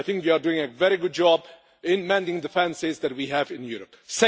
I think you are doing a very good job in mending the fences that we have in Europe.